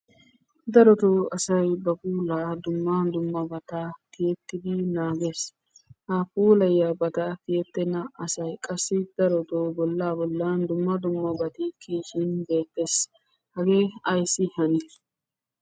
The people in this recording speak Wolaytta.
Darotoo asay ba puula dumma dummabataa tiyyetidi naagees. Ha puulayiyaabata tiyyeetenna asay qassi darotto bolla bollan dumma dummabati kiyyishi beeettes. Hage ayssi hani?